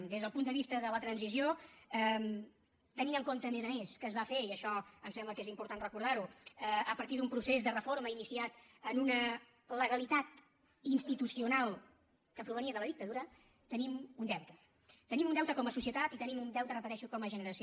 des del punt de vista de la transició tenint en compte a més a més que es va fer i això em sembla que és important recordar ho a partir d’un procés de reforma iniciat en una legalitat institucional que provenia de la dictadura tenim un deute tenim un deute com a societat i tenim un deute ho repeteixo com a generació